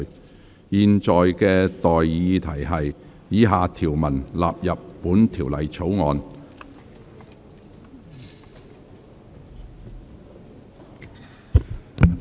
我現在向各位提出的待議議題是：以下條文納入本條例草案。